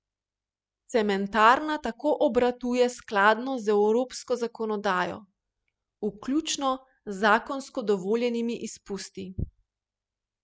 Cementarna tako obratuje skladno z evropsko zakonodajo, vključno z zakonsko dovoljenimi izpusti.